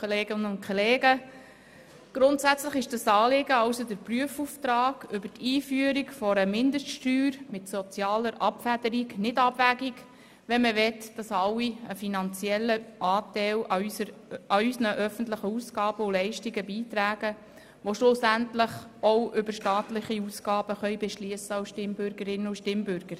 Grundsätzlich ist das Anliegen, also der Prüfauftrag über die Einführung einer Mindeststeuer mit sozialer Abfederung nicht abwegig, wenn man möchte, dass alle, die schlussendlich als Stimmbürgerinnen und Stimmbürger auch über staatliche Ausgaben beschliessen können, einen finanziellen Anteil an unseren öffentlichen Ausgaben und Leistungen beitragen.